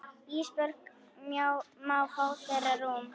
Ísbjörg má fá þeirra rúm.